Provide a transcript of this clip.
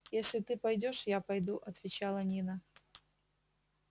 если ты пойдёшь я пойду отвечала нина